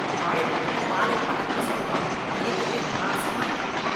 வாழை பழத்த வாலை பலம்னு சொல்றான், கேக்கவே நாராசமா இருக்கு.